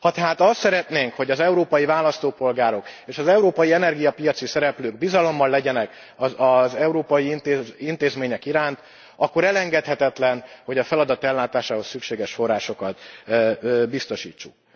Ha tehát azt szeretnénk, hogy az európai választópolgárok és az európai energiapiaci szereplők bizalommal legyenek az európai intézmények iránt, akkor elengedhetetlen, hogy a feladat ellátásához szükséges forrásokat biztosítsuk.